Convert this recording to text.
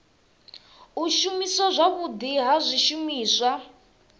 u shumiswa zwavhudi ha zwishumiswa